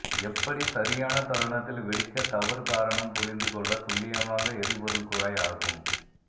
எப்படி சரியான தருணத்தில் வெடிக்க தவறு காரணம் புரிந்து கொள்ள துல்லியமாக எரிபொருள் குழாய் ஆகும்